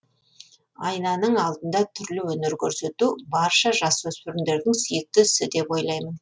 айнаның алдында түрлі өнер көрсету барша жасөспірімдердің сүйікті ісі деп ойлаймын